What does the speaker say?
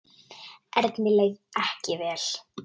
Erni leið ekki vel.